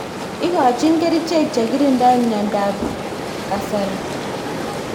Ikochin kerixhek chekirindoi mnyendo ab kasari.